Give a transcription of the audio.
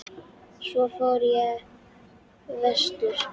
Svo fór ég vestur.